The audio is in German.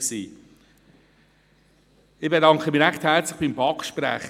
Ich bedanke mich recht herzlich beim Sprecher